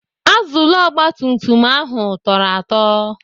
Azụlụ ogbatumtum ahụ tọrọ atọ.